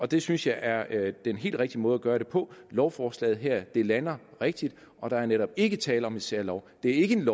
det synes jeg er den helt rigtige måde at gøre det på lovforslaget her lander rigtigt og der er netop ikke tale om en særlov det er ikke en